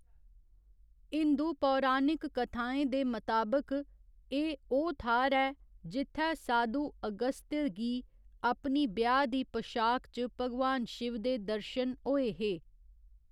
हिंदू पौराणिक कथाएं दे मताबक, एह् ओह् थाह्‌र ऐ जित्थै साधू अगस्त्य गी अपनी ब्याह् दी पशाक च भगवान शिव दे दर्शन होए हे।